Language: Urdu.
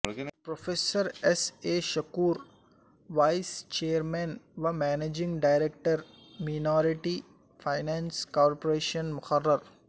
professor S A Shakoor vice chairman و managing director minority finance corporation مقرر